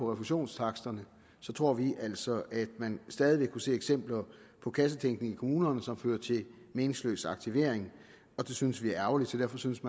refusionstaksterne tror vi altså at man stadig vil kunne se eksempler på kassetænkning i kommunerne som fører til meningsløs aktivering og det synes vi er ærgerligt så derfor synes